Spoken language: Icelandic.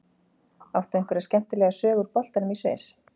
Áttu einhverja skemmtilega sögu úr boltanum í Sviss?